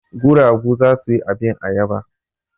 Guragu za su yi abin ayaba.